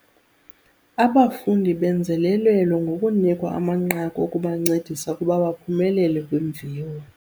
Abafundi benzelelelwe ngokunikwa amanqaku okubancedisa ukuba baphumelele kwiimviwo.